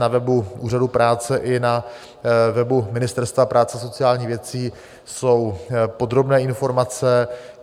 Na webu Úřadu práce i na webu Ministerstva práce a sociálních věcí jsou podrobné informace.